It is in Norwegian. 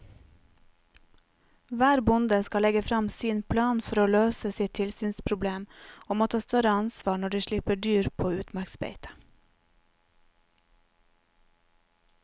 Hver bonde skal legge frem sin plan for å løse sitt tilsynsproblem og må ta større ansvar når de slipper dyr på utmarksbeite.